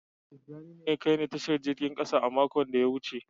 Tijani ne ya kai ni Tashar jirgin kasa mako da ya wuce.